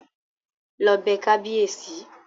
Lọ bẹ kábíèsí!